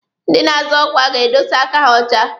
Ndị na-azọ ọkwa ga-edosa aka ha ọcha.